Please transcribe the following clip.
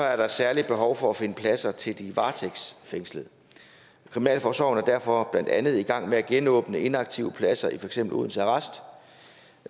er der et særligt behov for at finde pladser til de varetægtsfængslede kriminalforsorgen er derfor blandt andet i gang med at genåbne inaktive pladser i for eksempel odense arrest